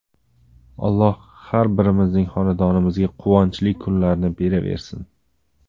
Alloh har birimizning xonadonimizga quvonchli kunlarni beraversin!